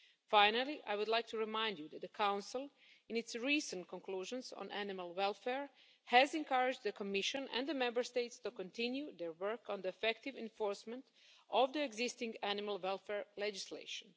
trade. Finally, I would like to remind you that the Council, in its recent conclusions on animal welfare, has encouraged the Commission and the Member States to continue their work on the effective enforcement of the existing animal welfare legislation.